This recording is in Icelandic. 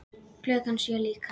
Klukkan sjö líka.